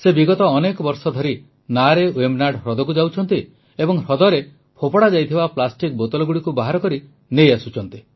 ସେ ବିଗତ ଅନେକ ବର୍ଷ ଧରି ନାଆରେ ୱେମ୍ବନାଡ଼ ହ୍ରଦକୁ ଯାଉଛନ୍ତି ଏବଂ ହ୍ରଦରେ ଫୋପଡ଼ାଯାଇଥିବା ପ୍ଲାଷ୍ଟିକ ବୋତଲଗୁଡ଼ିକୁ ବାହାର କରି ନେଇ ଆସୁଛନ୍ତି